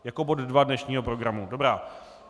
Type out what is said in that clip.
Jako bod 2 dnešního programu, dobrá.